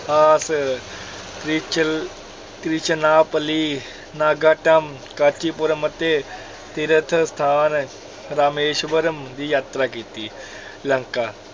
~ਆਸ ਤ੍ਰਿਚਲ~ ਤ੍ਰਿਚਨਾਪੱਲੀ, ਨਾਗਾਟਮ, ਕਾਂਚੀਪੁਰਮ ਅਤੇ ਤੀਰਥ ਸਥਾਨ ਰਾਮੇਸ਼ਵਰਮ ਦੀ ਯਾਤਰਾ ਕੀਤੀ, ਲੰਕਾ